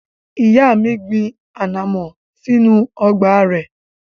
Ìyá mi gbin ànàmọ́ sínú ọgbà rẹ̀.